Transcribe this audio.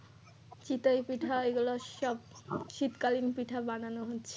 চিতল পিঠা এগুলো সব শীতকালীন পিঠা বানানো হচ্ছে।